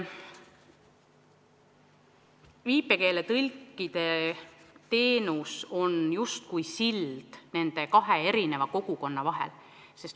Viipekeeletõlkide teenus on justkui sild nende kahe kogukonna vahel.